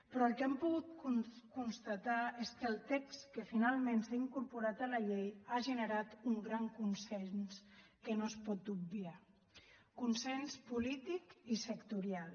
però el que hem pogut constatar és que el text que finalment s’ha incorporat a la llei ha generat un gran consens que no es pot obviar consens polític i sectorial